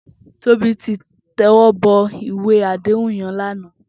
Tobi ti tèwòbò iwé àdéhún yèn làná